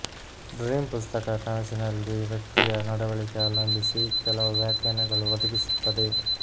dream ಪುಸ್ತಕ ಕನಸಿನಲ್ಲಿ ವ್ಯಕ್ತಿಯ ನಡವಳಿಕೆ ಅವಲಂಬಿಸಿ ಹಲವು ವ್ಯಾಖ್ಯಾನಗಳು ಒದಗಿಸುತ್ತದೆ